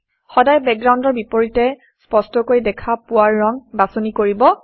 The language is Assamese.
সদায় বেকগ্ৰাউণ্ডৰ বিপৰীতে স্পষ্টকৈ দেখা পোৱা ৰং বাছনি কৰিব